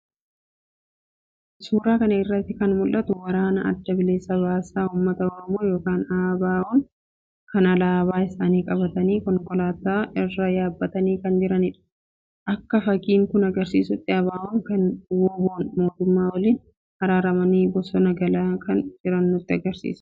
Suura kana irratti kan mul'atu Waraana Adda Bilisa Baasaa Uummata Oromoo yookiin ABO'n alaabaa isaanii qabatanii konkolaataa irra yaabbatanii kan jiranidha. Akka fakiin kun agarsiisutti ABO ykn WBO'n mootummaa waliin araaramanii bosonaa galaa kan jiran nutti agarsiisa.